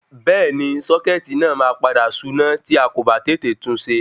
Bẹ́ẹ̀ni sọ́kẹ́tì náà ma padà suná tí akò ba tètè tunṣe